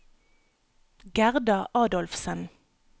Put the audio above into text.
Gerda Adolfsen